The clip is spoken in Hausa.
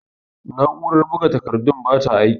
Na'urar buga takardun bata aiki.